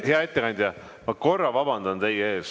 Hea ettekandja, ma korra vabandan teie ees.